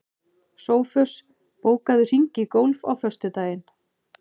Sófus, bókaðu hring í golf á föstudaginn.